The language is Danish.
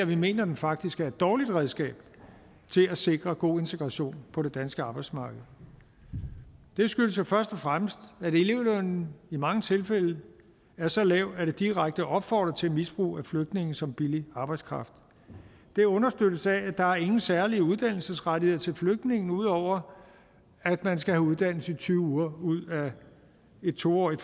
vi mener at den faktisk er et dårligt redskab til at sikre god integration på det danske arbejdsmarked det skyldes jo først og fremmest at elevlønnen i mange tilfælde er så lav at det direkte opfordrer til misbrug af flygtninge som billig arbejdskraft det understøttes af at der ikke er nogen særlige uddannelsesrettigheder til flygtninge ud over at man skal have uddannelse i tyve uger ud af et to årig